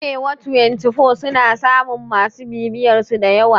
Arewa twantifo suna samun masu bibiyarsu dayawa